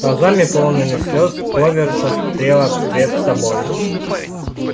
глазами полными слёз кловер смотрела пред собой